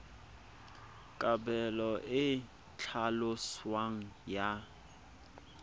kabelo e e tlhaloswang ya